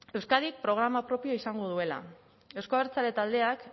euskadik programa propioa izango duela euzko abertzale taldeak